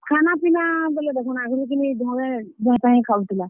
ଖାନାପିନା ବେଲେ ଦେଖୁନ୍ ଆଗ୍ ରୁ କିନି ଘରେ ଯାହିଁ ତାହିଁ ଖାଉଥିଲା।